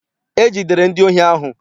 E jidere ndi ohi ahụ.